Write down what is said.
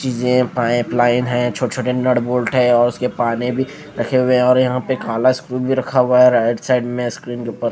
चीजें पाइपलाइन है छोटे-छोटे नट बोल्ट हैं और उसके पाने भी रखे हुए हैं और यहां पे काला स्क्रू भी रखा हुआ है राइट साइड में स्क्रीन के ऊपर --